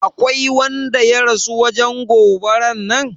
Aƙwai wanda ya rasu wajen goɓaran nan?